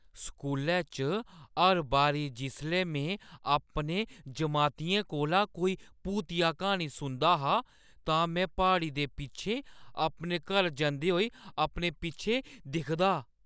स्कूलै च हर बारी जिसलै में अपने जमातियें कोला कोई भूतिया क्हानी सुनदी ही, तां में प्हाड़ी दे पिच्छें अपने घर जंदे होई अपने पिच्छें दिखदी ।